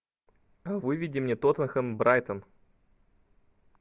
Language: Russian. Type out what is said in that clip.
выведи мне тоттенхэм брайтон